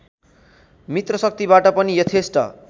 मित्रशक्तिबाट पनि यथेष्ट